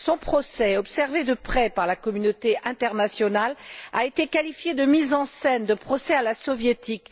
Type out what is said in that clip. Son procès, observé de près par la communauté internationale, a été qualifié de mise en scène, de procès à la soviétique.